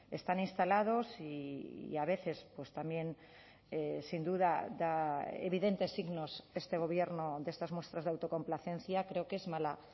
están instalados y a veces pues también sin duda da evidentes signos este gobierno de estas muestras de autocomplacencia creo que es mala